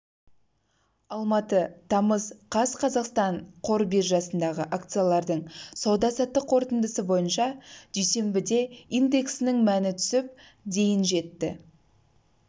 алматы тамыз қаз қазақстан қор биржасындағы акциялардың сауда-саттық қорытындысы бойынша дүйсенбіде индексінің мәні түсіп дейін жетті